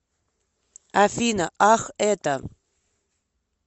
афина ах это